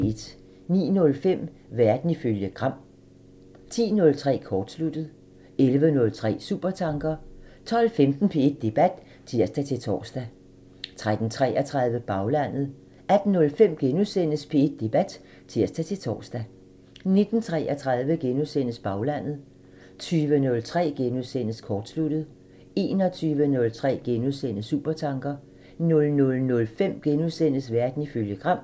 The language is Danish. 09:05: Verden ifølge Gram (tir) 10:03: Kortsluttet (tir) 11:03: Supertanker (tir) 12:15: P1 Debat (tir-tor) 13:33: Baglandet (tir) 18:05: P1 Debat *(tir-tor) 19:33: Baglandet *(tir) 20:03: Kortsluttet *(tir) 21:03: Supertanker (tir) 00:05: Verden ifølge Gram *(tir)